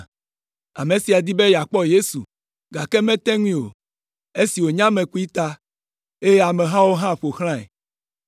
Ame sia di be yeakpɔ Yesu, gake mete ŋui o, esi wònye ame kpui ta eye amehawo hã ƒo xlãe.